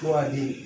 Waajibi